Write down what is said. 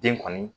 Den kɔni